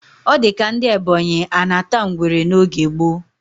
O dika ndi ebonyi anata ngwere n oge gbo